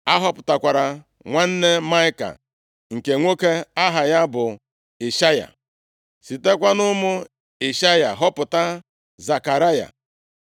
A họpụtara nwanne Maịka nke nwoke aha ya bụ Ishaya, sitekwa nʼụmụ Ishaya họpụta Zekaraya.